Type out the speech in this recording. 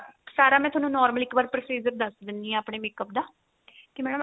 ਸਾਰਾ ਮੈਂ ਤੁਹਾਨੂੰ normally ਇੱਕ ਵਾਰ procedure ਦੱਸ ਦਿੰਨੀ ਏ ਆਪਣੇ makeup ਦਾ ਕੀ madam